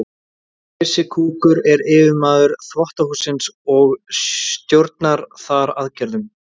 Krissi kúkur er yfirmaður þvottahússins og stjórnar þar aðgerðum.